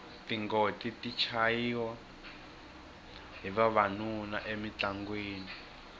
tingoti ti chayiwa hi vavanuna emintlangwini